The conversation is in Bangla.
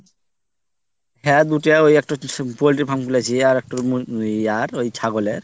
হ্যাঁ দুটাই ওই একটা হচ্চে সু poultry farm খুলেছি। আর একটা ওই ইয়ার ওই ছাগলের